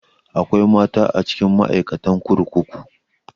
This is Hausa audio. Akwai mata a cikin ma'aikatan kurkuku